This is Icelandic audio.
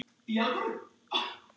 Líf mitt.